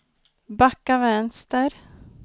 backa vänster